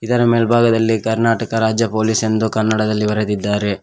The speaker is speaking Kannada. ಇದರ ಮೆಲ್ಭಾಗದಲ್ಲಿ ಕರ್ನಾಟಕ ರಾಜ್ಯ ಪೊಲೀಸ್ ಎಂದು ಕನ್ನಡದಲ್ಲಿ ಬರದಿದ್ದಾರೆ.